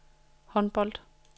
håndbold